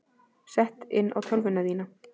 Sett inn á tölvuna þína.